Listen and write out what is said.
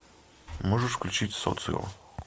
можешь включить социо